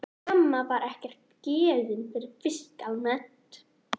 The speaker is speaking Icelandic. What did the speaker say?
Mamma var ekkert gefin fyrir fisk almennt.